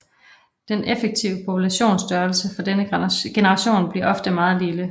Den effektive populationsstørrelse for denne generation bliver ofte meget lille